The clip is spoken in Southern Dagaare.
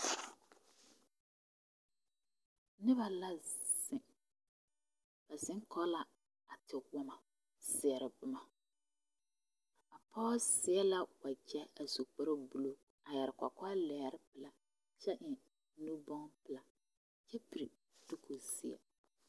Noba la zeŋ ba zeŋ kɔge la a tewoma a seɛrɛ boma a pɔge seɛla wagyɛ a su kpare buluu a yɛre kɔkɔlɛgre kyɛ eŋ nu bonne paalaa kyɛ piri Dino seɛ